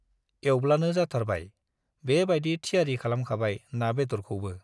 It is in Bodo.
एउब्लानो जाथारबाय, बे बायदि थियारि खालामखाबाय ना-बेदरखौबो ।